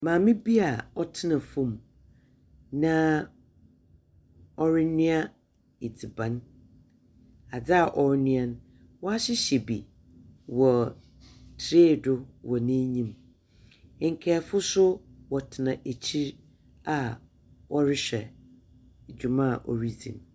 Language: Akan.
Maame bi a ɔtena fom na ɔrenoa adziban. Adze a ɔɔnoa no waahyehyɛ bi tree do wɔ n'anyim. Nkayɛfoso wɔtena akyiri a ɔrehwɛ dwuma a ɔredzi.